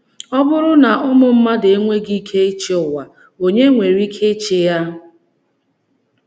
Ọ bụrụ na ụmụ mmadụ enweghị ike ịchị ụwa, ònye nwere ike ịchị ya?